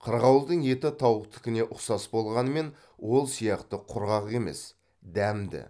қырғауылдың еті тауықтыкіне ұқсас болғанымен ол сияқты құрғақ емес дәмді